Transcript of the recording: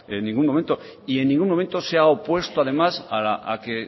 en ningún momento y en ningún momento se ha opuesto además a que